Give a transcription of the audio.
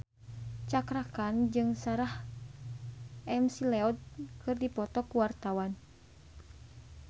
Cakra Khan jeung Sarah McLeod keur dipoto ku wartawan